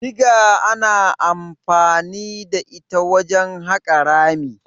Diga ana anfani da ita wajen haƙa rami.